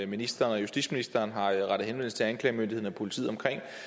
ministeren og justitsministeren har rettet henvendelse til anklagemyndigheden og politiet om